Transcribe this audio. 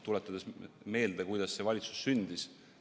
Tuletagem meelde, kuidas see valitsus sündis.